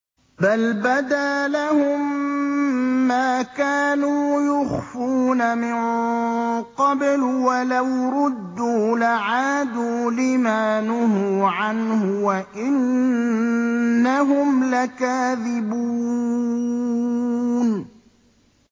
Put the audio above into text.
بَلْ بَدَا لَهُم مَّا كَانُوا يُخْفُونَ مِن قَبْلُ ۖ وَلَوْ رُدُّوا لَعَادُوا لِمَا نُهُوا عَنْهُ وَإِنَّهُمْ لَكَاذِبُونَ